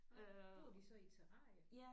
Nåh bor de så i terrarie?